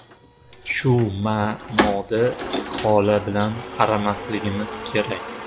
Shu ma’noda istihola bilan qaramasligimiz kerak.